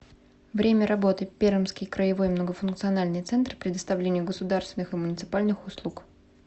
время работы пермский краевой многофункциональный центр предоставления государственных и муниципальных услуг